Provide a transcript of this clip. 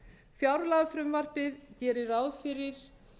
fjárlagafrumvarpið gerir ráð fyrir